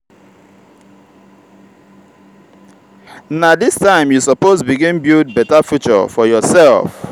na dis time you suppose begin build beta future for yoursef.